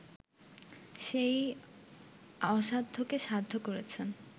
সেই অসাধ্যকে সাধ্য করেছেন